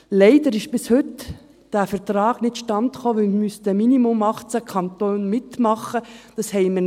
Leider kam dieser Vertrag bis heute nicht zustande, weil mindestens 18 Kantone mitmachen müssten.